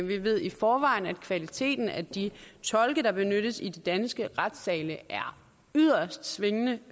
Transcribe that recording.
ved i forvejen at kvaliteten af de tolke der benyttes i de danske retssale er yderst svingende